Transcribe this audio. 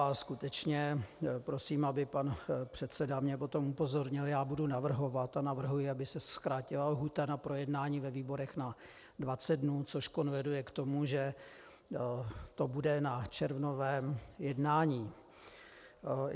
A skutečně prosím, aby pan předseda mě potom upozornil, já budu navrhovat a navrhuji, aby se zkrátila lhůta na projednání ve výborech na 20 dnů, což konvenuje k tomu, že to bude na červnovém jednání.